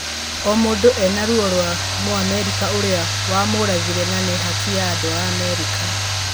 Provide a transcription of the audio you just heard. O mũndũ ena ruo rwa Mũamerika ũrĩa wamũragire na nĩ haki ya andũ a Amerika